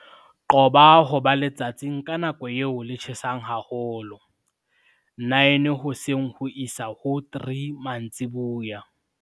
Qoba ho ba letsatsing ka nako eo le tjhesang haholo, 9:00 hoseng ho isa ho 3:00 mantsiboya.